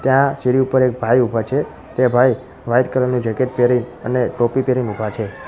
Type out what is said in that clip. ત્યાં સીડી ઉપર એક ભાઈ ઊભા છે તે ભાઈ વ્હાઇટ કલર નુ જેકેટ પેહરી અને ટોપી પહેરીને ઊભા છે.